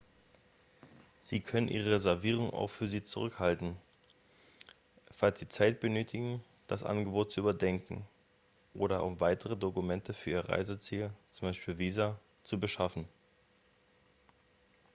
sie können ihre reservierung auch für sie zurückhalten falls sie zeit benötigen das angebot zu überdenken oder um weitere dokumente für ihr reiseziel z.b. visa zu beschaffen